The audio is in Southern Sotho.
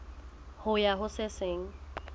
ho ya ho se seng